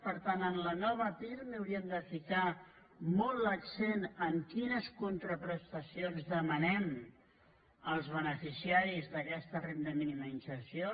per tant en la nova pirmi hauríem de ficar molt l’accent en quines contraprestacions demanem als beneficiaris d’aquesta renda mínima d’inserció